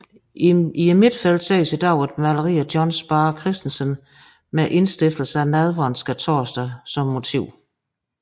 I midtfeltet ses i dag et maleri af John Sparre Christensen med indstiftelsen af nadveren Skærtorsdag som motiv